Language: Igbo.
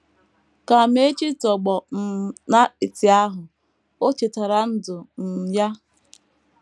Ka Amaechi tọgbọ um n’apịtị ahụ, o chetara ndụ um ya.